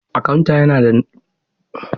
Akanta yana da na'urar sanyaya iska a ofishinsa.